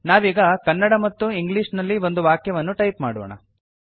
ನಾವೀಗ ಕನ್ನಡ ಮತ್ತು ಇಂಗ್ಲಿಷ್ ನಲ್ಲಿ ಒಂದು ವಾಕ್ಯವನ್ನು ಟೈಪ್ ಮಾಡೋಣ